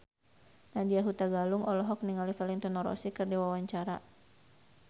Nadya Hutagalung olohok ningali Valentino Rossi keur diwawancara